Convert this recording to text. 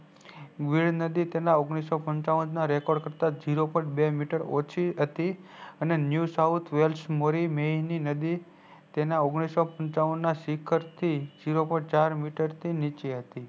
વેલ નદી તેના ઓગણીસો પંચાવન ના record કરતા ઝિરો point બે મીટર ઓછી હતી અને new south west મોરી મેઈની ની નદી તેના ઓગણીસો પંચાવન ના શિખર થી ઝિરો point ચાર મીટર નીચી થી હતી